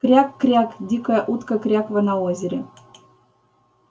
кряк-кряк дикая утка крякала на озере